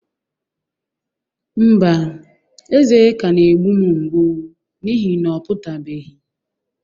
Mba, eze ka na-egbụ m ngbụ n'ihi na ọ pụtabeghi